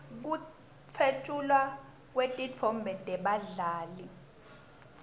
kutfwetjulwa kwetitfombe tebadlali